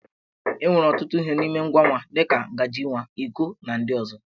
E nwere ọtụtụ ihe n'ime ngwa nwa, dị ka ngaji nwa, iko, na ndị ọzọ.